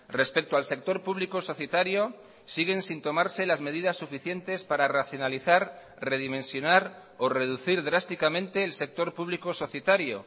respecto al sector público societario siguen sin tomarse las medidas suficientes para racionalizar redimensionar o reducir drásticamente el sector público societario